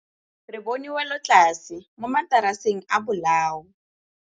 Re bone wêlôtlasê mo mataraseng a bolaô.